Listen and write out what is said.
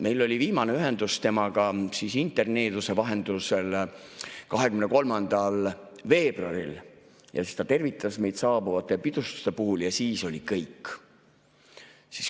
Meil oli viimane ühendus temaga interneeduse vahendusel 23. veebruaril, ta tervitas meid saabuvate pidustuste puhul ja siis oli kõik.